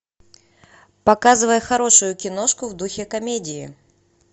показывай хорошую киношку в духе комедии